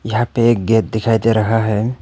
यहां पे एक गेट दिखाई दे रहा है।